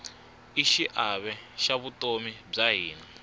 i xiave xa vutomi bya hina